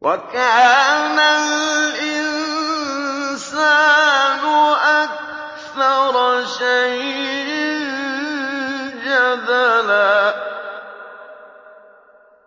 وَكَانَ الْإِنسَانُ أَكْثَرَ شَيْءٍ جَدَلًا